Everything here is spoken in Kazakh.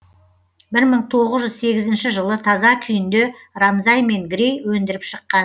бір мың тоғыз жүз сегізінші жылы таза күйінде рамзай мен грей өндіріп шыққан